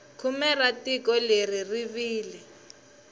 khume ra tiko leri ri wile